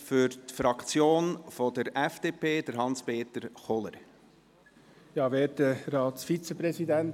Für die FDP-Fraktion hat Hans-Peter Kohler das Wort.